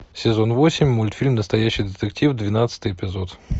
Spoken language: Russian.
сезон восемь мультфильм настоящий детектив двенадцатый эпизод